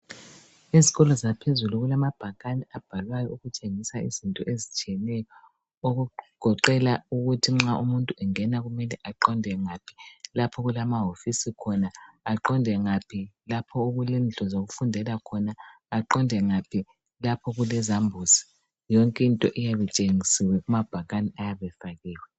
Izikolo zaphezulu kulamabhakane abhalwayo, ukutshengisa izinto ezitshiyeneyo. Okugoqela ukuthi nxa umuntu engena kumele aqonde ngaphi. Lapho okulamahofisi khona. Aqonde ngaphi, lapho okule okulezindlu zokufundela khona. Aqonde ngaphi ,lapho okulezambuzi khona. Yonke into iyabe itshengisiwe, lapha okulamabhakane ayabe efakiwe.